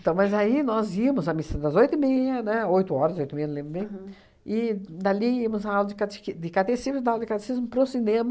Então, mas aí nós íamos à missa das oito e meia, né, oito horas, oito e meia, não lembro bem, e dali íamos à aula de catiqui de catecismo e da aula de catecismo para o cinema,